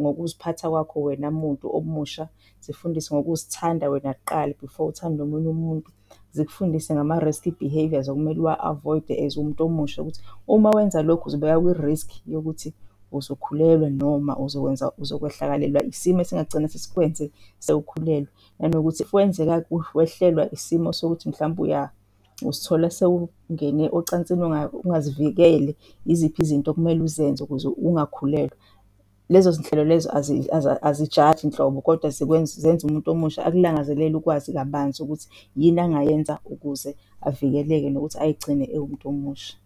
ngokuziphatha kwakho, wena muntu omusha, zifundise ngokuzithanda wena kuqala before uthanda omunye umuntu. Zikufundise ngama-risky behaviours okumele uwa-avoid-e as umuntu omusha ukuthi uma wenza lokhu uzibeka kwi-risk yokuthi uzokhulwela noma uzokwenza, uzokwehlakalelwa isimo esingagcine sesikwenze sewukhulelwe nanokuthi if kwenzeka-ke wehlelwa isimo sokuthi mhlawumbe uzithola sewungene ocansini ungazivikele yiziphi izinto okumele uzenze ukuze ungakhulelwa. Lezo zinhlelo lezo, azijaji nhlobo, kodwa zenza umuntu omusha akulangazelele ukwazi kabanzi ukuthi yini engayenza ukuze avikeleke nokuthi ayigcine ewumuntu omusha.